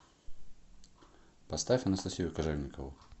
поставь анастасию кожевникову